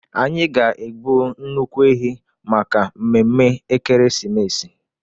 Anyị ga-egbu nnukwu ehi maka mmemme Ekeresimesi.